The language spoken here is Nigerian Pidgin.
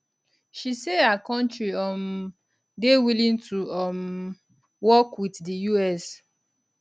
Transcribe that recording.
she say her kontri um dey willing to um work wit di us